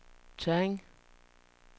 Tørring